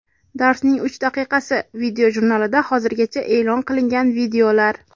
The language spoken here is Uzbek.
"Darsning uch daqiqasi" video-jurnalida hozirgacha e’lon qilingan videolar.